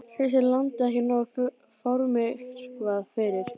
Finnst þér landið ekki nógu formyrkvað fyrir?